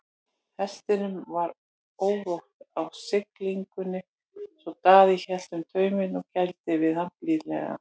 Hestinum var órótt á siglingunni svo Daði hélt um tauminn og gældi við hann blíðlega.